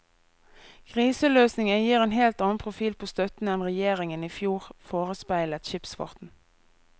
Kriseløsningen gir en helt annen profil på støtten enn regjeringen i fjor forespeilet skipsfarten.